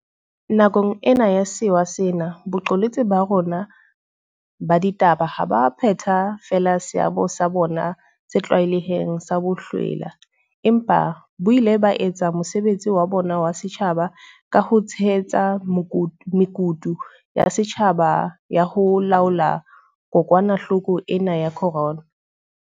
Nakong ena ya sewa sena, boqolotsi ba rona ba ditaba ha bo a phetha feela seabo sa bona se tlwaelehileng sa bohlwela, empa bo ile ba etsa mosebetsi wa bona wa setjhaba ka ho tshehetsa mekutu ya setjhaba ya ho laola kokwanahloko ena ya corona.